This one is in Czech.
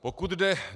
Pokud jde...